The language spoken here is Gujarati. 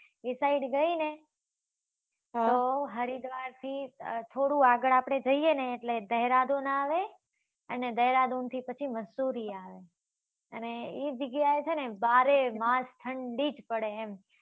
ઈ side ગઈ ને, આહ હરિદ્વારથી થોડું આગળ આપડે જઈએ ને, એટલે દહેરાદૂન આવે. અને દેહરાદૂનથી પછી મસૂરી આવે અને એ જગ્યા એ છે ને, બારે માસ ઠંડી જ પડે એમ